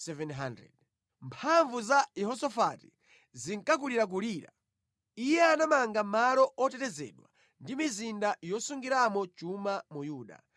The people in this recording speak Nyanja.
Mphamvu za Yehosafati zinkakulirakulira. Iye anamanga malo otetezedwa ndi mizinda yosungiramo chuma mu Yuda